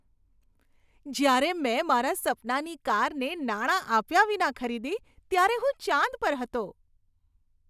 જ્યારે મેં મારા સપનાની કારને નાણાં આપ્યા વિના ખરીદી ત્યારે હું ચાંદ પર હતો.